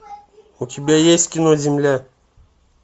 у тебя есть кино земля